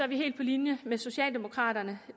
vi helt på linje med socialdemokraterne